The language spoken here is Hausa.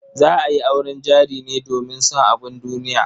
Za a yi auren jari ne domin son abun duniya.